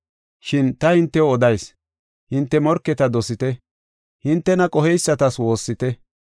Shin ta hintew odayis; hinte morketa dosite; hintena qoheysatas woossite.